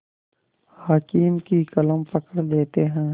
हाकिम की कलम पकड़ लेते हैं